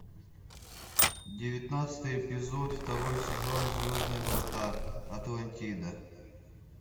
девятнадцатый эпизод второй сезон звездные врата атлантида